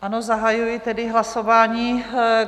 Ano, zahajuji tedy hlasování.